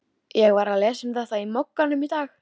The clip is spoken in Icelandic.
Hvernig fannst þér ég standa mig áðan?